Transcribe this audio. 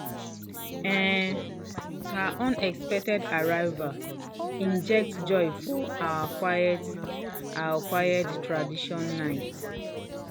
um her unexpected arrival inject joy for our quiet our quiet traditional night.